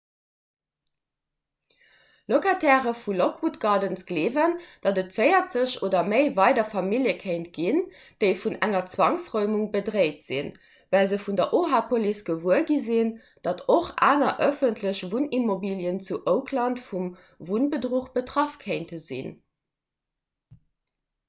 locataire vu lockwood gardens gleewen datt et 40 oder méi weider famillje kéint ginn déi vun enger zwangsräumung bedréit sinn well se vun der oha-police gewuer gi sinn datt och aner ëffentlech wunnimmobilien zu oakland vum wunnbedruch betraff kéinte sinn